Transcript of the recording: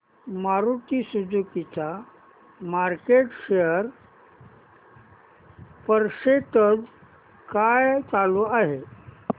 Maruti Suzuki चा market share percentage काय चालू आहे